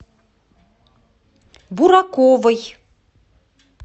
бураковой